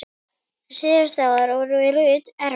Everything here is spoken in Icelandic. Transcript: Síðustu árin voru Ruth erfið.